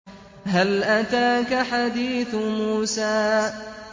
هَلْ أَتَاكَ حَدِيثُ مُوسَىٰ